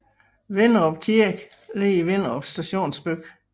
Vinderup Kirke ligger i Vinderup stationsby